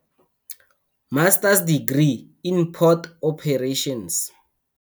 Masters Degree in Port Operations.